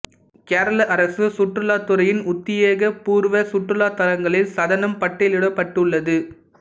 கேரள அரசு சுற்றுலாத் துறையின் உத்தியோகபூர்வ சுற்றுலா தளங்களில் சதனம் பட்டியலிடப்பட்டுள்ளது